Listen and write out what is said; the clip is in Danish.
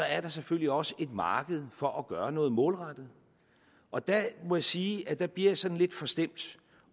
er der selvfølgelig også et marked for at gøre noget målrettet og der må jeg sige at der bliver jeg sådan lidt forstemt